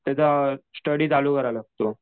त्याचा स्टडी चालू करावा लागतो.